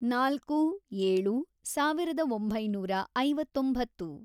ನಾಲ್ಕು, ಏಳು, ಸಾವಿರದ ಒಂಬೈನೂರ ಐವತ್ತೊಂಬತ್ತು